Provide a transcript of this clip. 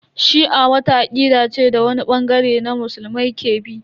Shi'a wata akida ce da wani bangare na musulmai ke bi.